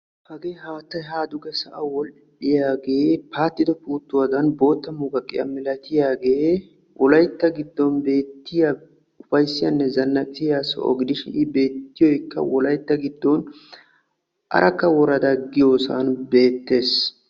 Hagee haatay ha dugee sa'aw woll"iyaage paatido puutuwaadan muqqaqiyaa malaatiyaagee wolaytta giddon beettiya ufayssiyanne zannaqqisiya soho gidishin. I beettiyoykka wolaytta giddon Arakka worada giyoossan beettees.